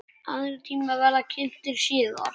Aðrir tímar verða kynntir síðar.